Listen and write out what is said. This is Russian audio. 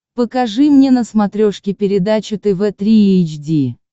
покажи мне на смотрешке передачу тв три эйч ди